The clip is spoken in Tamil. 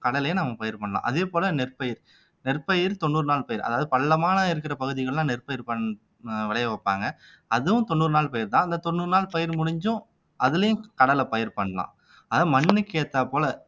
கடலையை நாம பயிர் பண்ணலாம் அதே போல நெற்பயிர் நெற்பயிர் தொண்ணூறு நாள் பயிர் அதாவது பள்ளமான இருக்கிற பகுதிகள் எல்லாம் நெற்பயிர் பண் அஹ் விளைய வைப்பாங்க அதுவும் தொண்ணூறு நாள் பயிர்தான் அந்த தொண்ணூறு நாள் பயிர் முடிஞ்சும் அதுலயும் கடலை பயிர் பண்ணலாம் ஆனா மண்ணுக்கு ஏத்தாற்போல